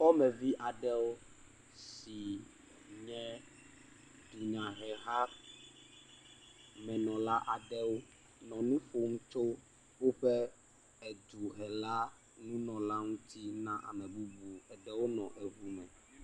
Dukɔmuvi aɖewo si nye dunyahehamenɔla aɖewo nɔnu ƒom tso woƒe duhelanunɔla ɛuti na ame bubu, aɖewo nɔ eŋu me.